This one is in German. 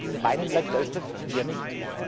In meinem Land Deutschland eher nicht.